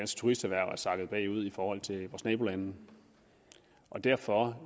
turisterhverv er sakket bagud i forhold til vores nabolande derfor